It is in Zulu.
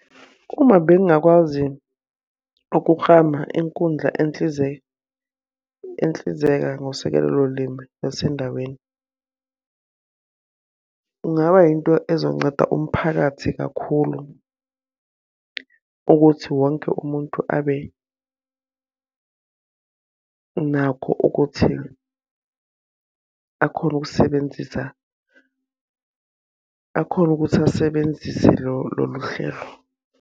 Uma bengingakwazi ukuklama inkundla enhlizeka ngosekelo limi lasendaweni. Kungaba yinto ezonceda umphakathi kakhulu, ukuthi wonke umuntu abe nakho ukuthi akhone ukusebenzisa akhone ukuthi asebenzise lolu hlelo.